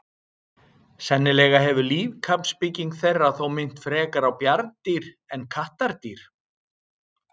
Sennilega hefur líkamsbygging þeirra þó minnt frekar á bjarndýr en kattardýr.